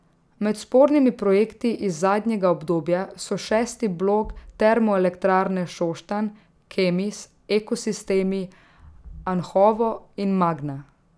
Med spornimi projekti iz zadnjega obdobja so šesti blok Termoelektrarne Šoštanj, Kemis, Ekosistemi, Anhovo in Magna.